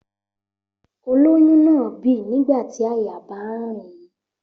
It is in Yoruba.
Olóyún náà bì nígbà tí àyà bá ń rìn ín